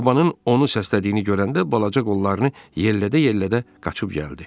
Babanın onu səslədiyini görəndə balaca qollarını yellədə-yellədə qaçıb gəldi.